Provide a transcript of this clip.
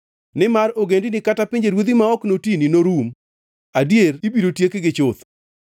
Nimar ogendini kata pinjeruodhi ma ok notini norum; adier ibiro tiekgi chuth.